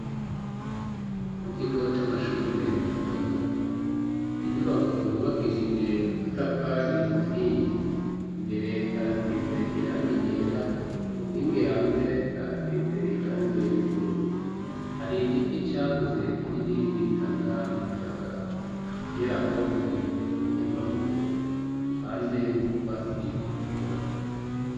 mu kigo c'amashure mato mato ninyubako yubakishije amatafari ahiye mbere harasize irangi yera ku nkingi hanze harasize irangi ry'ubururu hari igiti cyakuze kinini gitanga umuyaga musi yaho hari ibirundo by'amabuye ruhande nutwasi tugikura